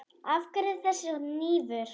Af hverju þessi hnífur?